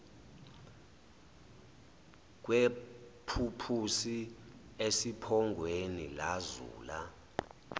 kwephuphusi esiphongweni lazula